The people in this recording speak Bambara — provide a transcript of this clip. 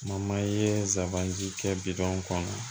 ye sabanan ji kɛ bidɔn kɔnɔ